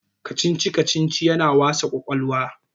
kacici- kacici yana wasa kwakwalwa